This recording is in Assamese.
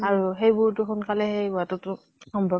আৰু সেইবোৰতো সোনকালে শেষ হোৱাতো তো সম্ভব